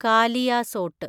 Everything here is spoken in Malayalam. കാലിയാസോട്ട്